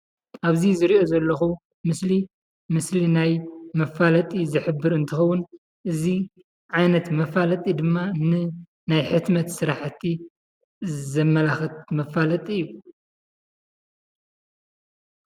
ኣብዚ ዝርእዮ ዘለኩ ምስሊ ምስሊ ናይ መፋለጢ ዝሕበር እንትከውን እዚ ዓይነት መፋለጢ ድማ ን ናይ ሕትመት ስራሕቲ ዘመላክት መፋለጢ እዩ።